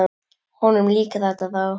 Honum líkar þetta þá.